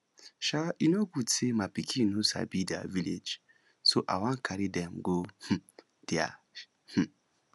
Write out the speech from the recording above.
um e no good say my pikin no sabi their village so i wan carry dem go um there um